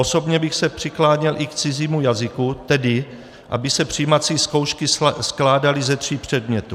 Osobně bych se přikláněl i k cizímu jazyku, tedy aby se přijímací zkoušky skládaly ze tří předmětů.